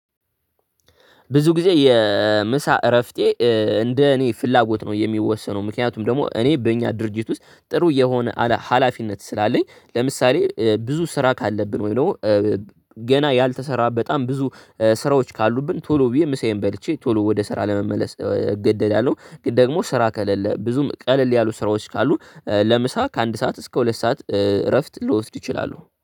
ብዙ ግዜ የምሳ እረፍቴ እንደኔ ፍላጎት ነው የሚወሰነው ምክንያቱም ደግሞ እኔ በኛ ድርጅት ውስጥ ጥሩ የሆነ ሀላፊነት ስላለኝ ለምሳሌ ብዙ ስራ ካለብን ወይም ደግሞ ገና ያልተሰራ በጣም ብዙ ስራዎች ካሉብን ቶሎ ብየ ምሳየን በልቼ ቶሎ ለስራ ለመመለስ እገደዳለሁ። ግን ደግሞ ስራ ከሌለ ብዙም ቀለል ያሉ ስራዎች ካሉ ለምሳ ከአንድ ሰዓት እስከ ሁለት ሰዓት እረፍት ልወስድ እችላለሁ